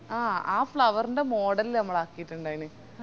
അഹ് flower ൻറെ model ലാ നമ്മള് ആക്കിറ്റിണ്ടായിന്